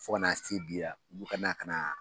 Fo ka na se bi la olu ka na ka na